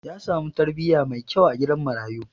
Ya samu tarbiyya mai kyau a gidan marayu.